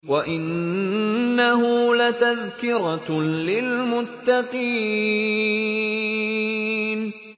وَإِنَّهُ لَتَذْكِرَةٌ لِّلْمُتَّقِينَ